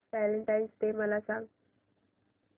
Valentine's day मला सांग